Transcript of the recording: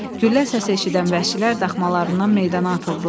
Güllə səsi eşidən vəhşilər daxmalarından meydana atıldılar.